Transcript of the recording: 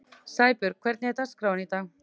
Sæbjörg, hvernig er dagskráin í dag?